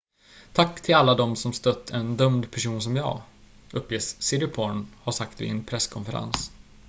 """tack till alla de som stött en dömd person som jag" uppges siriporn ha sagt vid en presskonferens.